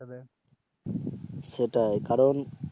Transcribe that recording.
সেটাই কারণ